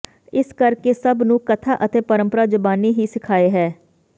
ਇਸ ਕਰਕੇ ਸਭ ਨੂੰ ਕਥਾ ਅਤੇ ਪਰੰਪਰਾ ਜ਼ਬਾਨੀ ਹੀ ਸਿਖਾਏ ਹੈ